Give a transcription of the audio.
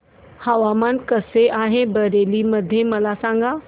हवामान कसे आहे बरेली मध्ये मला सांगा